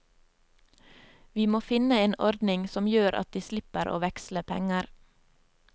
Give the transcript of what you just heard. Vi må finne en ordning som gjør at de slipper å veksle penger.